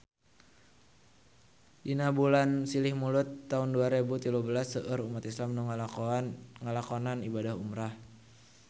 Dina bulan Silih Mulud taun dua rebu tilu belas seueur umat islam nu ngalakonan ibadah umrah